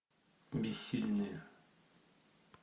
бессильные